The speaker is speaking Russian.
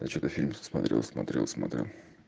я что-то фильм смотрел смотрел смотрел